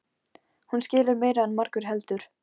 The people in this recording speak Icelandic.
Hún skilur meira en margur heldur.